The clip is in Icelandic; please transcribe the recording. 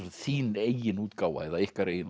þín eigin útgáfa eða ykkar eigin